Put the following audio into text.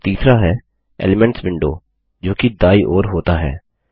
और तीसरा है एलिमेंट्स विंडो जो कि दायीं ओर होता है